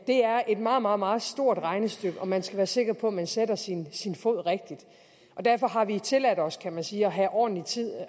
er et meget meget meget stort regnestykke og man skal være sikker på at man sætter sin sin fod rigtigt derfor har vi tilladt os kan man sige at have ordentlig tid